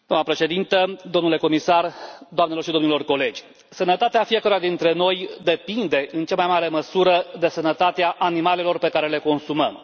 Doamnă președintă, domnule comisar, doamnelor și domnilor colegi, sănătatea fiecăruia dintre noi depinde în cea mai mare măsură de sănătatea animalelor pe care le consumăm.